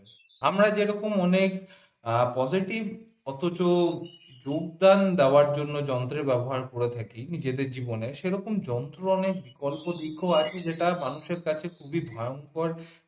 আমরা যে রকম অনেক positive অথচ যোগদান দেয়ার জন্য যন্ত্রের ব্যবহার করে থাকি নিজেদের জীবনে সেরকম যন্ত্র অনেক বিকল্প দিক ও আছে যেটা মানুষের কাছে খুবই ভয়ংকর।